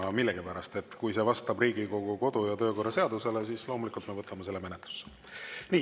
Kui vastab Riigikogu kodu‑ ja töökorra seadusele, siis loomulikult me võtame selle menetlusse.